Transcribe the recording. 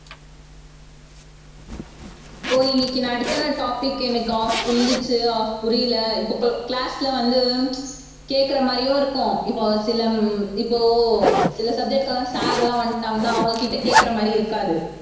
ஓ இன்னைக்கு நான் அடுத்த நாள் topic எனக்கு half புரிஞ்சுச்சு half புரியலை இப்ப class ல வந்து கேட்கிற மாதிரியும் இருக்கும் இப்ப சில உம் இப்போ சில subject க்கு எல்லாம் sir எல்லாம் வந்துட்டாங்கன்னா அவங்க கிட்ட கேட்கிற மாதிரி இருக்காது